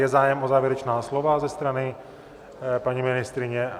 Je zájem o závěrečná slova ze strany paní ministryně?